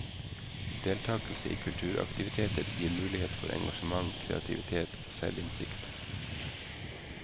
Deltakelse i kulturaktiviteter gir mulighet for engasjement, kreativitet og selvinnsikt.